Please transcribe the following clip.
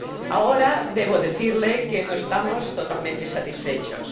Ahora debo decirle que no estamos totalmente satisfechos.